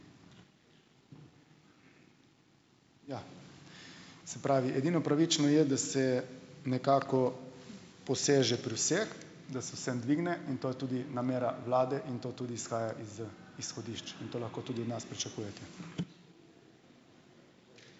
Ja, se pravi, edino pravično je, da se nekako poseže pri vseh, da se vsem dvigne, in to je tudi namera vlade in to tudi izhaja iz, izhodišč in to lahko tudi od nas pričakujete.